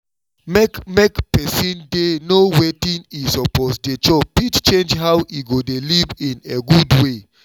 make make person dey know wetin e suppose dey chop fit change how e go dey live in a good way